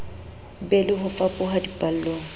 be le ho fapoha dipallong